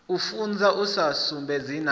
u funza u sudzulusa na